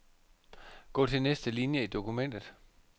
Gå til næste linie i dokumentet.